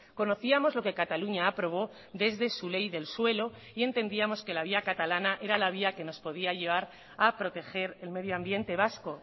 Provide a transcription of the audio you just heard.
conocíamos lo que cataluña aprobó desde su ley del suelo y entendíamos que la vía catalana era la vía que nos podía llevar a proteger el medio ambiente vasco